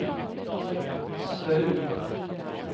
Söul